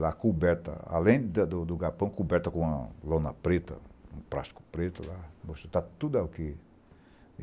Lá coberta, além da do do galpão, coberta com uma lona preta, um plástico preto lá, está tudo aqui.